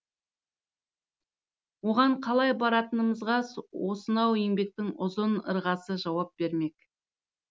оған қалай баратынымызға осынау еңбектің ұзын ырғасы жауап бермек